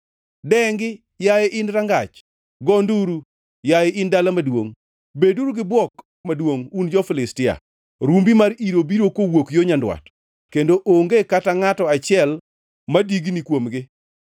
Dengi, yaye in rangach! Go nduru, yaye in dala maduongʼ! Beduru gi bwok maduongʼ, un jo-Filistia. Rumbi mar iro biro kowuok yo nyandwat kendo onge kata ngʼato achiel madigni kuomgi.